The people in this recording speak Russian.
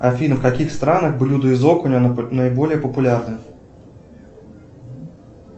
афина в каких странах блюда из окуня наиболее популярны